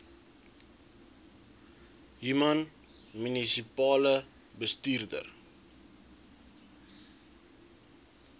human munisipale bestuurder